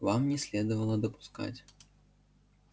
вам не следовало допускать